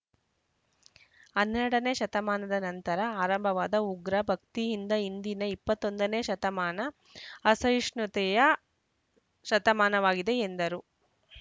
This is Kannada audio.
ಹನ್ನೆರಡನೇ ಶತಮಾನದ ನಂತರ ಆರಂಭವಾದ ಉಗ್ರ ಭಕ್ತಿಯಿಂದ ಇಂದಿನ ಇಪ್ಪತ್ತ್ ಒಂದನೇ ಶತಮಾನ ಅಸಹಿಷ್ಣುತೆಯ ಶತಮಾನವಾಗಿದೆ ಎಂದರು